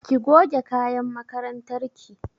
Ki goge kayan makarantar ki!